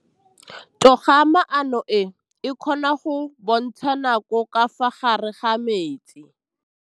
Toga-maanô e, e kgona go bontsha nakô ka fa gare ga metsi.